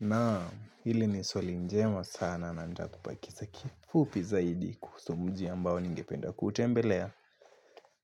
Naam, hili ni swali njema sana na ntakupa kisa kifupi zaidi kuhusu mji ambao ningependa kutembelea.